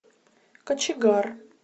кочегар